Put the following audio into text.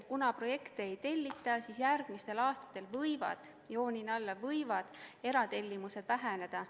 Kuna projekte ei tellita, siis järgmistel aastatel võivad – joonin alla, võivad – eratellimused väheneda.